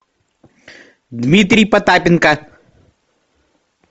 дмитрий потапенко